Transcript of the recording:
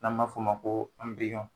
N'an ma f'o ma ko